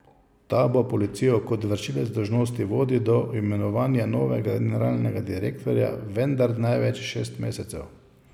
Ta bo policijo kot vršilec dolžnosti vodil do imenovanja novega generalnega direktorja, vendar največ šest mesecev.